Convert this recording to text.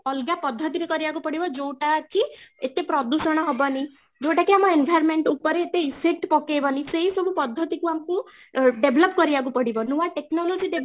ଅଲଗା ପଦ୍ଧତିରେ କରିବାକୁ ପଡିବ ଯୋଉଟାକି ଏତେ ପ୍ରଦୂଷଣ ହବନି ଯୋଉଟା କି ଆମ environment ଉପରେ ଏତେ effect ପକେଇବାନି ସେଇ ସବୁ ପଦ୍ଧତି କୁ ଆମକୁ ଅ develop କରିବାକୁ ପଡିବ ନୂଆ technology develop